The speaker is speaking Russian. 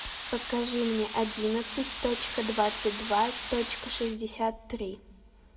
покажи мне одиннадцать точка двадцать два точка шестьдесят три